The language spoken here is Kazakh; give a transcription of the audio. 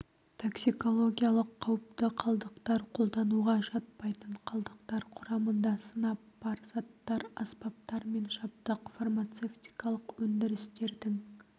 токсикологиялық қауіпті қалдықтар пайдалануға жатпайтын қалдықтар құрамында сынап бар заттар аспаптар мен жабдық фармацевтикалық өндірістердің